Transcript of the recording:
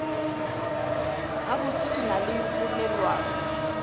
gabotse ke na le polelwana